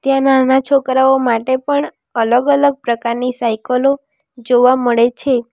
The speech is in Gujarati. ત્યાં નાના છોકરાઓ માટે પણ અલગ-અલગ પ્રકારની સાઇકલો જોવા મળે છે.